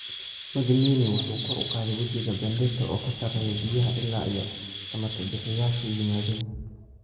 Magnini waxa uu kor u qaaday wejiga Benedetto oo ka sarreeya biyaha ilaa ay samatabbixiyeyaashu yimaadeen.